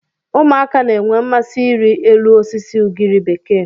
Ụmụaka na-enwe mmasị ịrị elu osisi ugiri bekee.